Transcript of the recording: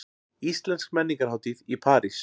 Íslensk menningarhátíð í París